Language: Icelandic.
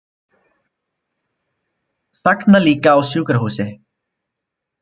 Sagna líka á sjúkrahúsi